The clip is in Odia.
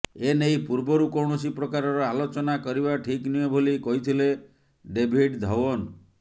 ଏ ନେଇ ପୂର୍ବରୁ କୌଣସି ପ୍ରକାରର ଆଲୋଚନା କରିବା ଠିକ୍ ନୁହେଁ ବୋଲି କହିଥିଲେ ଡେଭିଡ୍ ଧଓ୍ବନ